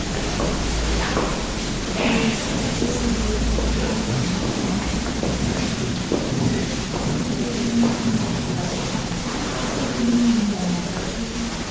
se ke lemoimana ha ke